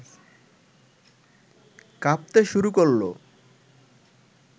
কাঁপতে শুরু করল